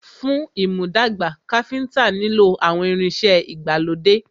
Fún ìmúdàgbà, Káfíntà nilo àwọn ìrìn ìṣe ìgbàlódé.